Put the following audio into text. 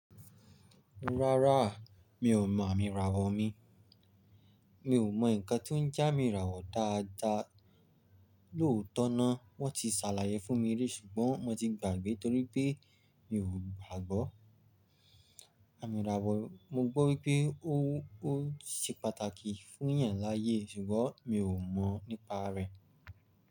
Rárá, mi ò mọ àmì ìràwọ̀ mi. Mi ò mọ nǹkan tó ń je ami ràwọ̀ dáadáa. Lóòótọ́ ná, wọ́n ti ṣàlàyé fún mi rí ṣùgbọ́n mo ti gbàgbé torípé mi ò gbàgbọ́ àmì ìràwọ̀. Mo gbọ́ wípé ó ṣe pàtàkì fún èèyàn láyé ṣùgbọ́n mi ò mọ̀ nípa rẹ̀.